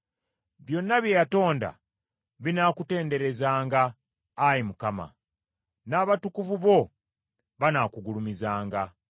Byonna bye watonda binaakutenderezanga, Ayi Mukama ; n’abatukuvu bo banaakugulumizanga.